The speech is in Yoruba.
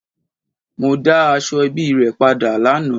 Mo da Asoebi re pada lana